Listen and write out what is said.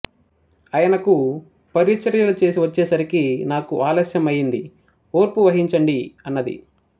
అయనకు పరిచర్యలు చేసి వచ్చేసరికి నాకు ఆలస్యం అయింది ఓర్పు వహించండి అన్నది